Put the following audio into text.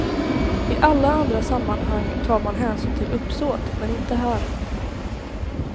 I alla andra sammanhang tar man hänsyn till uppsåt men inte här.